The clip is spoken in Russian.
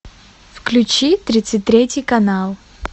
включи тридцать третий канал